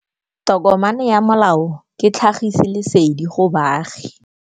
Tokomane ya molao ke tlhagisi lesedi go baagi.